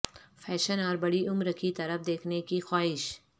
fashion اور بڑی عمر کی طرف دیکھنے کی خواہش